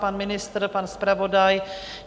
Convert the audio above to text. Pan ministr, pan zpravodaj?